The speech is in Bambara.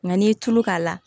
Nka n'i ye tulu k'a la